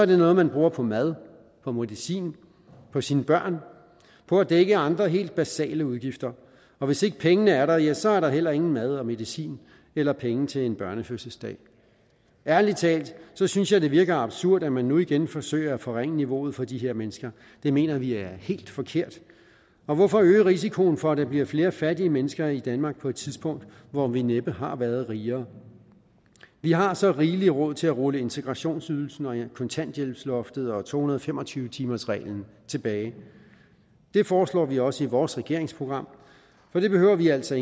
noget man bruger på mad på medicin på sine børn på at dække andre helt basale udgifter og hvis ikke pengene er der ja så er der heller ingen mad og medicin eller penge til en børnefødselsdag ærlig talt synes jeg det virker absurd at man nu igen forsøger at forringe niveauet for de her mennesker det mener vi er helt forkert hvorfor øge risikoen for at der bliver flere fattige mennesker i danmark på et tidspunkt hvor vi næppe har været rigere vi har så rigeligt råd til at rulle integrationsydelsen og kontanthjælpsloftet og to hundrede og fem og tyve timersreglen tilbage det foreslår vi også i vores regeringsprogram og det behøver vi altså